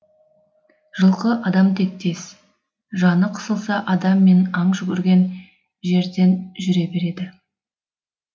жылқы адам тектес жаны қысылса адам мен аң жүгірген жерден жүре береді